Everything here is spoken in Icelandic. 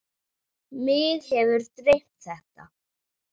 Mig hefur dreymt þetta.